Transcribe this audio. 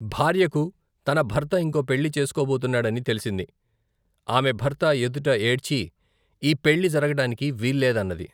భార్యకు, తన భర్త ఇంకో పెళ్ళి చేసుకోబోతున్నాడని తెలిసింది. ఆమె భర్త ఎదుట ఏడ్చీ, ఈ పెళ్ళి జరగటానికి వీల్లేదన్నది.